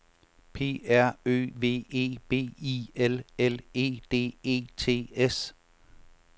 P R Ø V E B I L L E D E T S